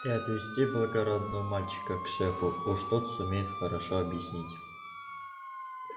и отвести благодарного мальчика к шефу уж тот сумеет хорошо объяснить